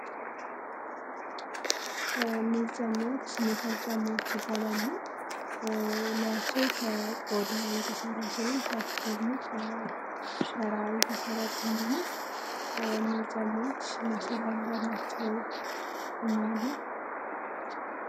ምንፀማዎች ሚከርጨማዎች ይባላሉ ለያቸው ከቆዳዊ የተሰረ ሲሆን ታች ደግሞ ከሰራይ ተሠራ ጨማኖ መንፀማዎች ማሰሪያእንዳ ነቻው ናለም